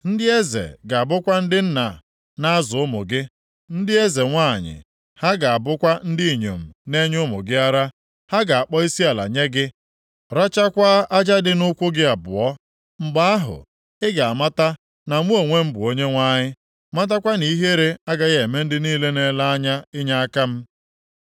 Ndị eze ga-abụkwa ndị nna na-azụ ụmụ gị, ndị eze nwanyị ha ga-abụkwa ndị inyom na-enye ụmụ gị ara. Ha ga-akpọ isiala nye gị, rachakwaa aja dị nʼụkwụ gị abụọ. Mgbe ahụ, ị ga-amata na mụ onwe m bụ Onyenwe anyị, matakwa na ihere agaghị eme ndị niile na-ele anya inyeaka m.”